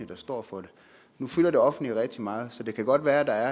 der står for det nu fylder det offentlige rigtig meget så det kan godt være at der